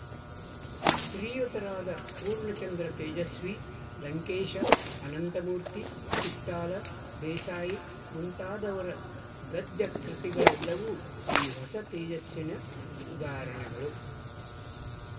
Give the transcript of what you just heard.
ಶ್ರೀಯುತರಾದ ಪೂರ್ಣಚಂದ್ರ ತೇಜಸ್ವಿ ಲಂಕೇಶ ಅನಂತಮೂರ್ತಿ ಚಿತ್ತಾಲ ದೇಸಾಯಿ ಮುಂತಾದವರ ಗದ್ಯಕೃತಿಗಳೆಲ್ಲವೂ ಈ ಹೊಸ ತೇಜಸ್ಸಿನ ಉದಾಹರಣೆಗಳು